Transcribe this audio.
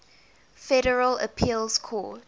federal appeals court